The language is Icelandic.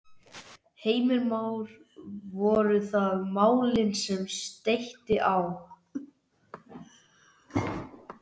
Heimir Már: Voru það málin sem steytti á?